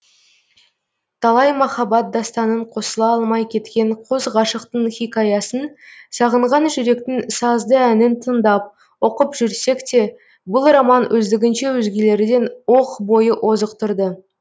талай махаббат дастанын қосыла алмай кеткен қос ғашықтың хикаясын сағынған жүректің сазды әнін тыңдап оқып жүрсекте бұл роман өздігінше өзгелерден оқ бойы озық тұрды